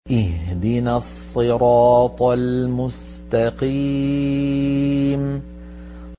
اهْدِنَا الصِّرَاطَ الْمُسْتَقِيمَ